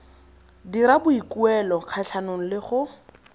dira boikuelo kgatlhanong le go